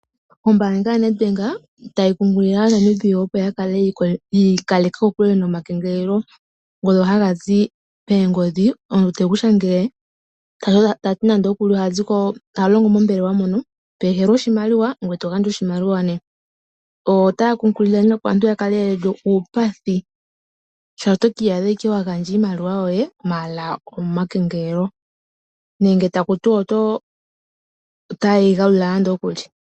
Ombaanga yaNedBank otayi kunkilile aaNamibia opo yakale ye li kokule no ma kengelelo ngono ha gazi koongodhi, omuntu tekushangele ta ti oha longo mombelewa mono, teku indile oshimaliwa ngwee to gandja oshimaliwa nduno. Ota ya kunkilile opo aantu yakale yeli uupathi shaashi omuntu oto ki iyadha wagandja iimaliwa yoye molwa oma kengelelo nenge ta yati ota ye yigalula.